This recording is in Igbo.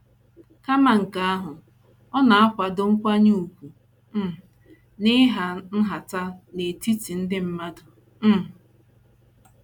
Kama nke ahụ, ọ na - akwado nkwanye ùgwù um na ịhà nhata n’etiti ndị mmadụ. um